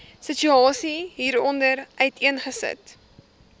situasie hieronder uiteengesit